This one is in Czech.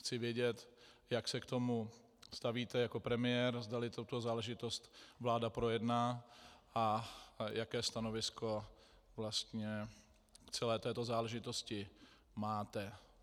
Chci vědět, jak se k tomu stavíte jako premiér, zdali tuto záležitost vláda projedná a jaké stanovisko vlastně k celé této záležitosti máte.